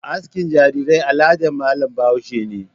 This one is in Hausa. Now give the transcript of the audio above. Askin jarirai aladar malam bahaushe ne.